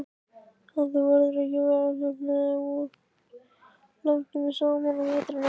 En verður þú ekki veðurteppt hérna langtímum saman á veturna?